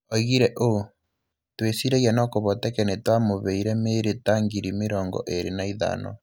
Oigire ũũ: "Twĩciragia no kũvoteke nĩ twamũveire mĩĩrĩ ta ngiri mĩrongo ĩĩrĩ na ithano".